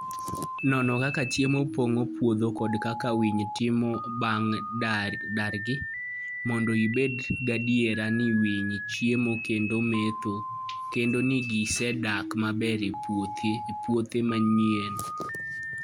Non kaka cham pong'o puodho kod kaka winy timo bang' dargi, mondo ibed gadier ni winy chiemo kendo metho, kendo ni gisedak maber e puothe manyien.